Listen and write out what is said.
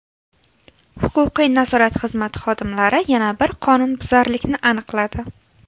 Huquqiy-nazorat xizmati xodimlari yana bir qonunbuzarlikni aniqladi.